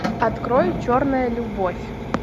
открой черная любовь